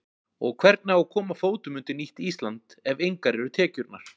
Og hvernig á að koma fótum undir nýtt Ísland ef engar eru tekjurnar?